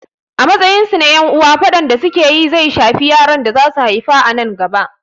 A matsayin su na ƴan uwa, faɗan da su ke yi zai shafi yaran da za su haifa a nan gaba.